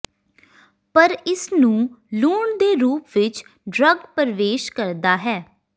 ਪਰ ਇਸ ਨੂੰ ਲੂਣ ਦੇ ਰੂਪ ਵਿਚ ਡਰੱਗ ਪਰਵੇਸ਼ ਕਰਦਾ ਹੈ